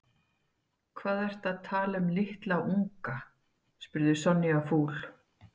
Hvað ertu að tala um litla unga? spurði Sonja fúl.